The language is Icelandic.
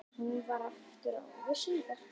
Hún vann aftur ári síðar.